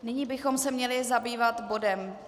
Nyní bychom se měli zabývat bodem